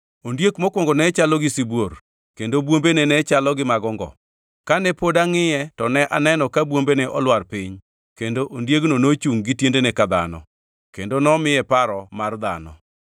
“Ondiek mokwongo ne chalo gi sibuor, kendo bwombene ne chalo gi mag ongo. Kane pod angʼiye to ne aneno ka bwombene olwar piny kendo ondiegino nochungʼ gi tiendene ka dhano, kendo nomiye paro ka mar dhano.